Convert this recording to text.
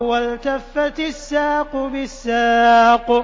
وَالْتَفَّتِ السَّاقُ بِالسَّاقِ